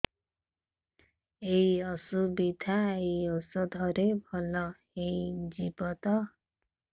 ଏଇ ଅସୁବିଧା ଏଇ ଔଷଧ ରେ ଭଲ ହେଇଯିବ ତ